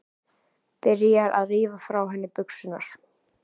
Byrjar að rífa frá henni buxurnar.